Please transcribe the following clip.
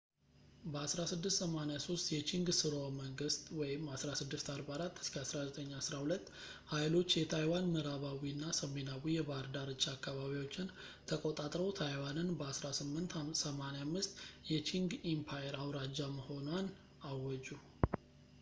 በ 1683 የቺንግ ሥርወ-መንግሥት 1644-1912 ኃይሎች የታይዋን ምዕራባዊ እና ሰሜናዊ የባህር ዳርቻ አካባቢዎችን ተቆጣጥረው ታይዋንን በ 1885 የቺንግ ኢምፓየር አውራጃ መሆኗን አወጁ